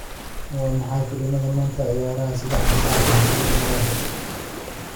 Waa maxay filimada maanta ciyaaraya saddexda saac ee fiidnimo ee i. max